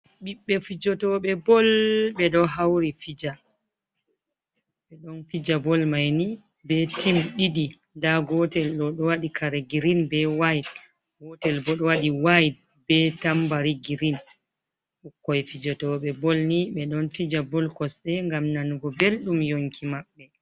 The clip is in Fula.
Biɓbe fijotooɓe bol hawri ɓe ɗon fija bol may ni ɓe tim ɗiɗi, gootel ɗo wadi kare girin be wayt, gootel bo ɗo wadi waiyt bee tambari girin, fijotooɓe bolni ɓe ɗon fija bol kosɗe ngam nanugo belɗum yonki maɓɓe.